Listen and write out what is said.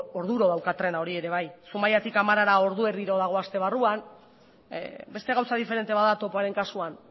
orduro dauka trena hori ere bai zumaiatik amarara ordu erdiro dago aste barruan beste gauza diferente bat da topoaren kasuan